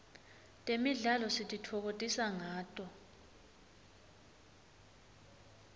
temidlalo sititfokotisa ngato